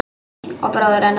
Og bróður hennar.